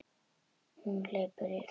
Hún hleypur þvert yfir gólfið.